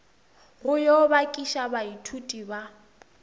go yo bakiša baithuti ba